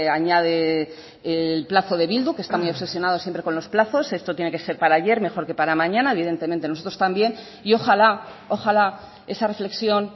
añade el plazo de bildu que están muy obsesionados siempre con los plazos esto tiene que ser para ayer mejor que para mañana evidentemente nosotros también y ojala ojala esa reflexión